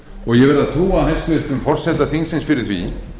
og ég verð að trúa hæstvirts forseta þingsins fyrir því